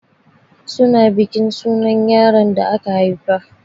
Su na bikin sunar yaron the aka haifa.